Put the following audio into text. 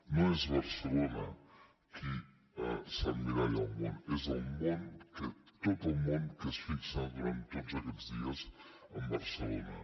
no és barcelona qui s’emmiralla al món és el món tot el món que es fixa durant tots aquests dies en barcelona